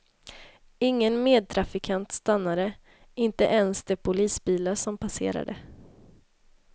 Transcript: Ingen medtrafikant stannade, inte ens de polisbilar som passerade.